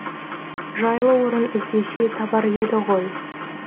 жайлы орын іздесе табар еді ғой